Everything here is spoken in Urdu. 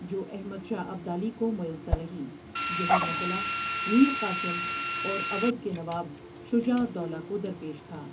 جو احمد شاہ ابدالی کو میسر رہی یہی مسلہ میر قاسم اور اودھ کے نواب شجاع الدولہ کو درپیش تھا۔